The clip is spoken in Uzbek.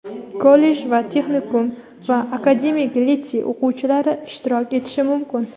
kollej va texnikum) va akademik litsey o‘quvchilari ishtirok etishi mumkin.